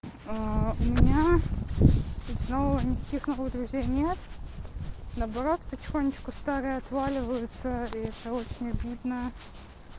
у меня и снова никаких новых друзей нет наоборот потихонечку старые отваливаются и это очень обидно